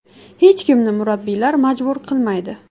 Hech kimni murabbiylar majbur qilmaydi.